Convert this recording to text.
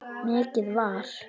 Mikið var!